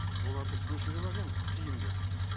оларды көшіріп әкелгені тиімді